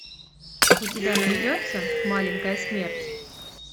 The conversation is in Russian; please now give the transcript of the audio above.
у тебя найдется маленькая смерть